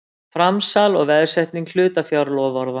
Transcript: Framsal og veðsetning hlutafjárloforða.